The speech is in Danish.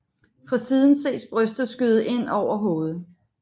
Fra siden ses brystet skyde ind over hovedet